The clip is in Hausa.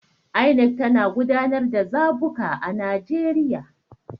INEC tana gudanar da zabuka a Najeriya.